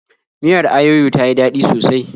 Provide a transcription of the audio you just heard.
Miyar ayoyo ta yi daɗi sosai.